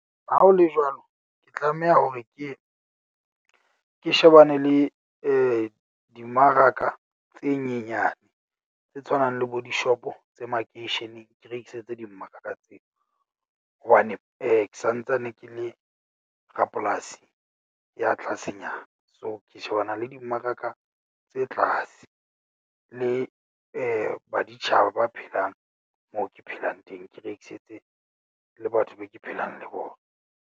Ha ho le jwalo, ke tlameha hore ke ye ke shebane le dimaraka tse nyenyane. Tse tshwanang le bo di-shop-o tse makeisheneng. Ke rekisetse dimmaraka tseo hobane ke santsane ke le rapolasi ya tlasenyana. So, ke shebana le dimmaraka tse tlase le baditjhaba ba phelang moo ke phelang teng. Ke rekisetse le batho be ke phelang le bona.